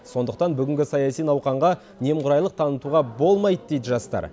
сондықтан бүгінгі саяси науқанға немқұрайлық танытуға болмайды дейді жастар